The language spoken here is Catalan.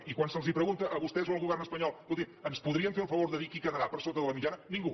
i quan se’ls pregunta a vostès o al govern espanyol escoltin ens podrien fer el favor de dir qui quedarà per sota de la mitjana ningú